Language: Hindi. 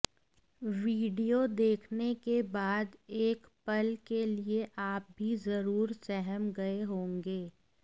वीडियो देखने के बाद एक पल के लिए आप भी जरूर सहम गए होंगे